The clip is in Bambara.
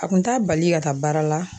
A kun t'a bali ka taa baara la